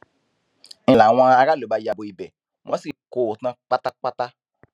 ń láwọn aráàlú bá ya bo ibẹ wọn sì kó o tán pátápátá